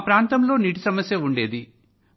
మా ప్రాంతంలో నీటి సమస్య ఉండేది